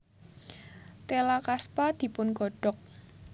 Téla kaspa dipun godhog